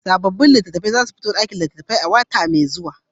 Sabobin littafan za su iso ɗakin littafai a wata mai zuwa.